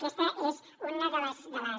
aquesta és una de les